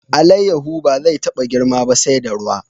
Alayyahu ba zai taba girma ba sai da ruwa.